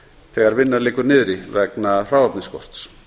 þegar vinna liggur niðri vegna hráefnisskorts